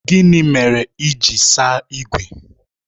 Gịnị mere ị ji saa ígwè?